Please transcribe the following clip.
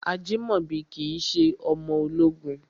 Ajimobi kìí ṣe ọmọ ológun.